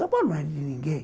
São Paulo não é de ninguém.